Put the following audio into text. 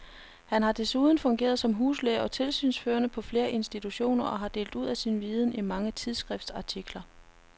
Han har desuden fungeret som huslæge og tilsynsførende på flere institutioner og delt ud af sin viden i mange tidsskriftsartikler.